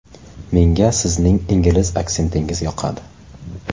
Menga sizning ingliz aksentingiz yoqadi.